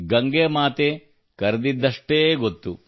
ಗಂಗಾಮಾತೆ ಕರೆದಿದ್ದಷ್ಟೇ ನನಗೆ ಗೊತ್ತು